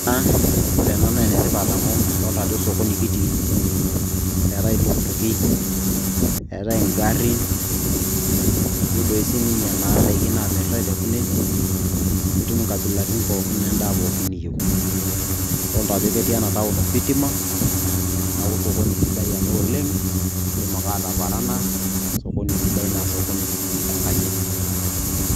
Aah! Ore ena naa enitipat amu adolita ajo sokini kitii eetai iltukutuki eetai ingarin etii doi sii ninye indaiki naamirtai tekunen itum inkabilaritin pookin endaa pookin niyieu adolita ajo ketii enataon ositima neeku sokoni sidai ena oleng indim ake ataparana sokoni sidai naa sokini sii enkanyit.